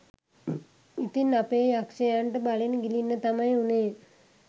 ඉතින් අපේ යක්ෂයන්ට බලෙන් ගිලින්න තමයි වුනේ